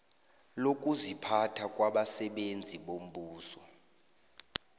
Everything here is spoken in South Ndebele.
lokuziphatha labasebenzi bombuso